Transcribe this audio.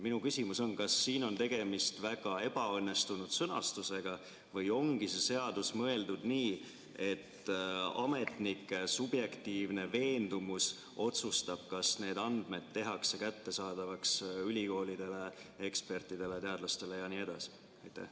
Minu küsimus on: kas siin on tegemist väga ebaõnnestunud sõnastusega või ongi see seadus mõeldud nii, et ametnike subjektiivne veendumus otsustab, kas need andmed tehakse kättesaadavaks ülikoolidele, ekspertidele, teadlastele jne?